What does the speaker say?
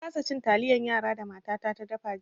Na kasa cin taliyan yara da matata da fa jiya.